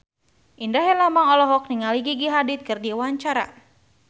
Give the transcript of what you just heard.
Indra Herlambang olohok ningali Gigi Hadid keur diwawancara